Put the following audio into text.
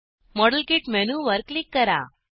model kit मेनूवर click करा